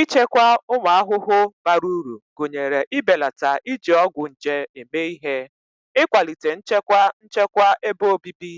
Ichekwa ụmụ ahụhụ bara uru gụnyere ibelata iji ọgwụ nje eme ihe, ịkwalite nchekwa nchekwa ebe obibi,